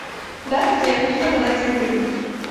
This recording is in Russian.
здравствуйте я хочу заказать цветы